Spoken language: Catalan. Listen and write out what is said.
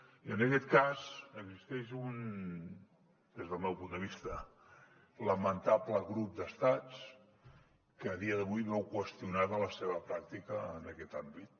i en aquest cas existeix un des del meu punt de vista lamentable grup d’estats que a dia d’avui veu qüestionada la seva pràctica en aquest àmbit